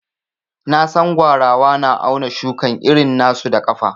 Na San gwarawa na auna shukan iri na su da kafa.